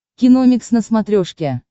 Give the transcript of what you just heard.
киномикс на смотрешке